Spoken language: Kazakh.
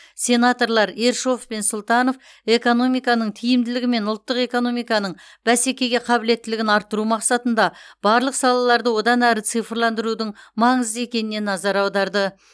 сенаторлар ершов пен сұлтанов экономиканың тиімділігі мен ұлттық экономиканың бәсекеге қабілеттілігін арттыру мақсатында барлық салаларды одан әрі цифрландырудың маңызды екеніне назар аударды